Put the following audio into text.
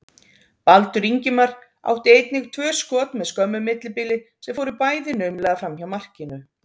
Baldur Ingimar átti einnig tvö skot með skömmu millibili sem fóru bæði naumlega framhjá markinu.